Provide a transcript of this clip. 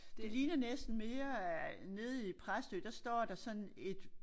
Det ligner næsten mere øh nede i Præstø der står der sådan et